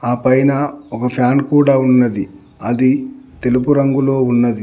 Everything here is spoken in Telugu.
ఆపైన ఒక ఫ్యాన్ కూడా ఉన్నది అది తెలుపు రంగులో ఉన్నది.